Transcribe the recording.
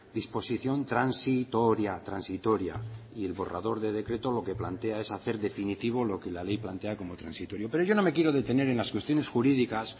disposición transitoria transitoria y el borrador de decreto lo que plantea es hacer definitivo lo que la ley plantea como transitorio pero yo no me quiero deteneren las cuestiones jurídicas